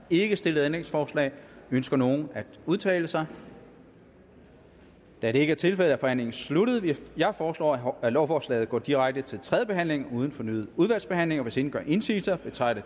ikke stillet ændringsforslag ønsker nogen at udtale sig da det ikke er tilfældet er forhandlingen sluttet jeg foreslår at lovforslaget går direkte til tredje behandling uden fornyet udvalgsbehandling hvis ingen gør indsigelse betragter